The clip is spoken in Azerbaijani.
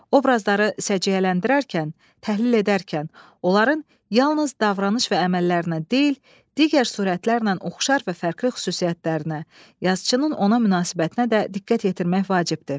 Obrazları səciyyələndirərkən, təhlil edərkən, onların yalnız davranış və əməllərinə deyil, digər surətlərlə oxşar və fərqli xüsusiyyətlərinə, yazıçının ona münasibətinə də diqqət yetirmək vacibdir.